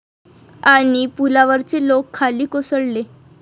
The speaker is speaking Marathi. ...आणि पुलावरचे लोक खाली कोसळले